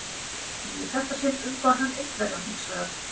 Í þetta sinn umbar hann Indverjann hins vegar.